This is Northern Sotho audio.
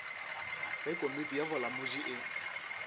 ge komiti ya bolamodi e